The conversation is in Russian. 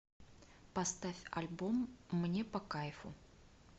поставь альбом мне по кайфу